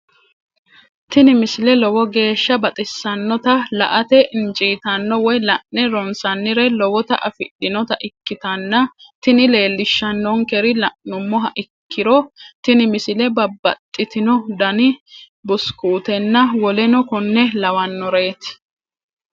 tini misile lowo geeshsha baxissannote la"ate injiitanno woy la'ne ronsannire lowote afidhinota ikkitanna tini leellishshannonkeri la'nummoha ikkiro tini misile babbaxxitino dani busukuutenna woleno konne lawannoreeti.